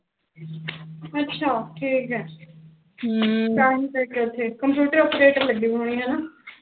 ਅੱਛਾ ਠੀਕੇ ਹਮ ਕੰਪਿਉਟਰ operator ਲੱਗੀ ਵੀ ਹੋਣੀ ਹਨਾ